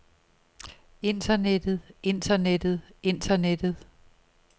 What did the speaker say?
internettet internettet internettet